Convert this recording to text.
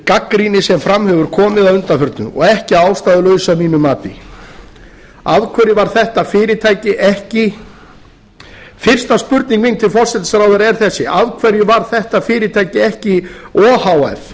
gagnrýni sem fram hefur komið að undanförnu og ekki að ástæðulausu að mínu mati fyrsta spurning mín til forsætisráðherra er þessi af hverju var þetta fyrirtæki ekki o h f